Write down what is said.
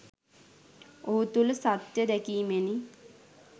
ඔහු තුල සත්ය දෑකීමෙනි